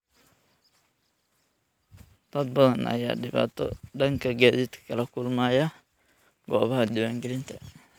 Dad badan ayaa dhibaato dhanka gaadiidka ah kala kulmaya goobaha diiwaangelinta.